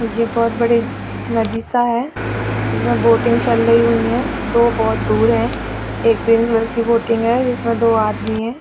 ये बहुत बड़ी नदी -सा है इसमें बोटिंग चल रही होइ है दो बहुत दूर है एक ग्रीन कलर की बोटिंग है जिसमें दो आदमी हैं |